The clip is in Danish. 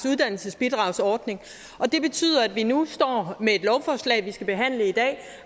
uddannelsesbidragsordning det betyder at vi nu står med et lovforslag vi skal behandle i dag